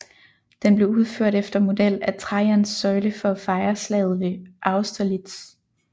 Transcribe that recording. Den blev udført efter model af Trajans søjle for at fejre slaget ved Austerlitz